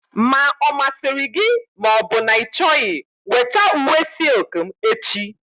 Ma ọ masịrị gị ma ọ bụ na ị chọghị weta uwe silk m echi!